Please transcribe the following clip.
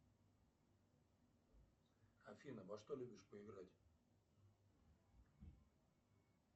афина во что любишь поиграть